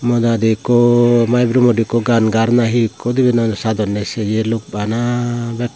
modat ikko maigromot gan gar nahi ikko dibe noi sadonne seye luk bana bek.